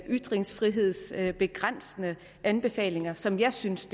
ytringsfrihedsbegrænsende anbefalinger som jeg synes